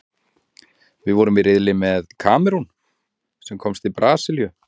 Við vorum í riðli með Kamerún, sem komst til Brasilíu.